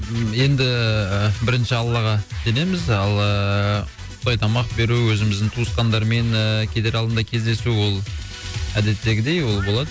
енді ііі бірінші аллаға сенеміз ал ыыы құдай тамақ беру өзіміздің туысқандармен ыыы кетер алдында кездесу ол әдеттегідей ол болады